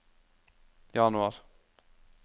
januar